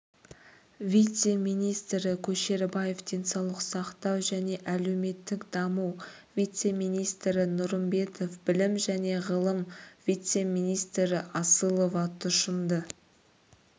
вице-министрі көшербаев денсаулық сақтау және әлеуметтік даму вице-министрі нұрымбетов білім және ғылым вице-министрі асылова тұщымды